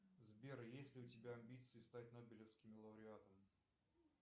сбер есть ли у тебя амбиции стать нобелевским лауреатом